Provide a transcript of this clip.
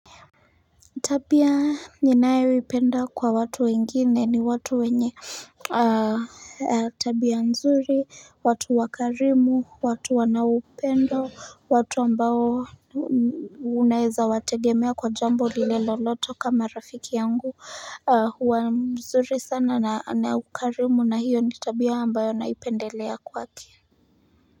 Tabia ninayo ipenda kwa watu wengine ni watu wenye tabia nzuri, watu wakarimu, watu wanaupendo, watu ambao unaeza wategemea kwa jambo lile lolote kama rafiki yangu, huwa mzuri sana na ana ukarimu na hiyo ni tabia ambayo naipendelea kwake.